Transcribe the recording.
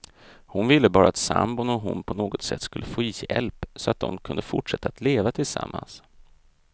Hon ville bara att sambon och hon på något sätt skulle få hjälp, så att de kunde fortsätta att leva tillsammans.